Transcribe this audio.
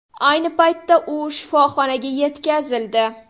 Ayni paytda u shifoxonaga yetkazildi.